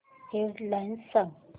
head lines सांग